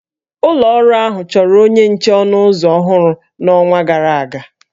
Ụlọ ọrụ ahụ chọrọ onye nche ọnụ ụzọ ọhụrụ n'ọnwa gara aga